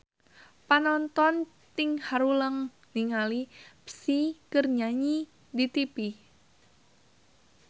Panonton ting haruleng ningali Psy keur nyanyi di tipi